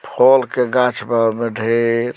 फोल के गाछ बा ओमा ढेर।